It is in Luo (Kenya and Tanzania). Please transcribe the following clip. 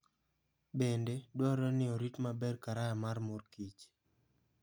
Bende, dwarore ni orit maber karaya mar mor kich.